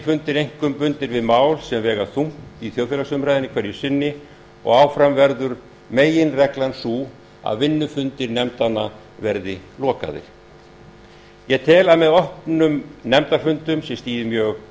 fundir einkum bundnir við mál sem vega þungt í þjóðfélagsumræðunni hverju sinni og áfram verður meginreglan sú að vinnufundir nefndanna verði lokaðir ég tel að með opnum nefndafundum sé stigið mjög